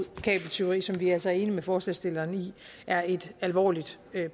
kabeltyveri som vi altså er enige med forslagsstillerne i er et alvorligt